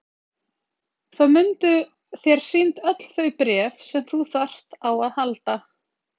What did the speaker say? Þá munu þér sýnd öll þau bréf sem þú þarft á að halda.